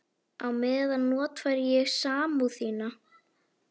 Og á meðan notfæri ég mér samúð þína.